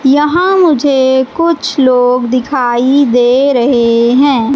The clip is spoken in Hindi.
यहां मुझे कुछ लोग दिखाई दे रहे हैं।